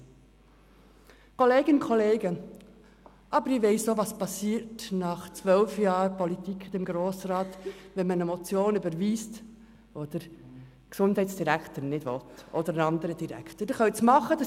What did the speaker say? Liebe Kolleginnen und Kollegen, ich weiss nach zwölf Jahren im Grossen Rat, was geschieht, wenn man eine Motion überweist, die der Gesundheitsdirektor oder auch ein anderer Direktor nicht haben will.